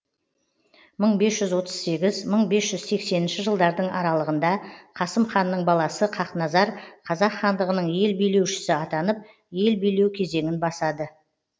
мың бес жүз отыз сегіз мың бес жүз сексенінші жылдардың аралығында қасым ханның баласы хақназар қазақ хандығының ел билеушісі атанып ел билеу кезеңін басады